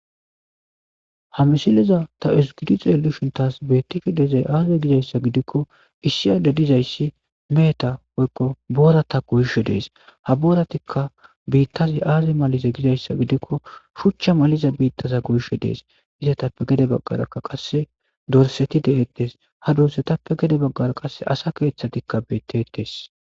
Ha misileza tavezigada xeelishn tas beetishe dizay aaze gizaysa gidikoni issi Adey dizaysi meheta woyko boorata goyishe Des, ha booratika biitazi azi malize gizaysa gidikon shuchu maliza biitaza goyishe Des, izetappe gede bagaraka qase dorsati de'etes, ha dorsatappe gede bagara qaseka asa keethatika beetesi.